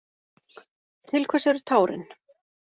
Til hvers eru tárin?